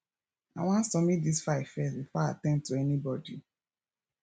i wan submit dis file first before i at ten d to anybody